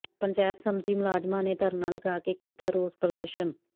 ਪੰਚਾਇਤ ਸੰਮਤੀ ਮੁਲਾਜਮਾਂ ਨੇ ਧਰਨਾ ਲਗਾ ਕੇ ਕੀਤਾ ਰੋਸ ਪ੍ਰਦਰਸ਼ਨ